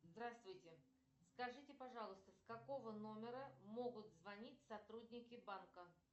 здравствуйте скажите пожалуйста с какого номера могут звонить сотрудники банка